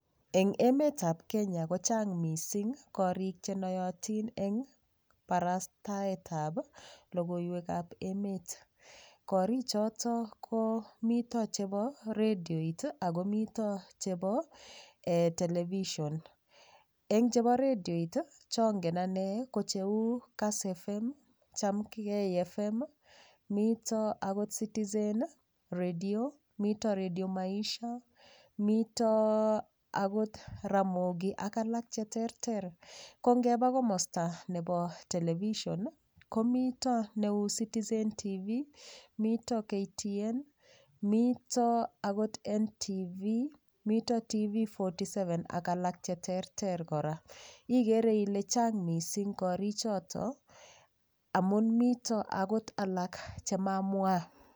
Eng' emetab Kenya kochang' mising' korik chenoyotin eng' barastaetab logoiwekab emet korik choto ko mito chebo redioit ako mito chebo television eng' chebo redioit chongen ane ko cheu kass FM chamgei FM mito akot citizen redio mito redio maisha mito akot ramogi ak alak cheterter ko ngeba komosta nebo television ko mito neu Citizen TV mito KTN mito akot NTV mito TV47 ak alak cheterter kora ikere ile chang' mising' korichoto amun mito akot alak chemamwa